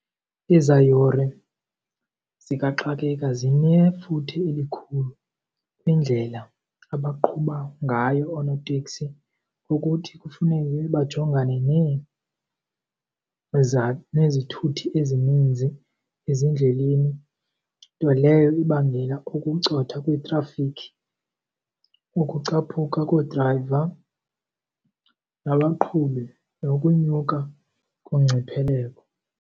Ezaa yure zikaxakeka zinefuthe elikhulu kwindlela abaqhuba ngayo oonoteksi. Ukuthi kufuneke bajongane nezithuthi ezininzi ezindleleni, nto leyo ibangela ukucotha kwetrafikhi, ukucaphuka koodrayiva nabaqhubi nokunyuka .